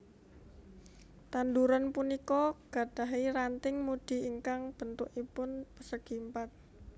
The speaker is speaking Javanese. Tanduran punika gadahi ranting mudi ingkang béntukipun pérsègi Èmpat